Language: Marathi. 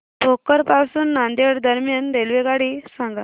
भोकर पासून नांदेड दरम्यान रेल्वेगाडी सांगा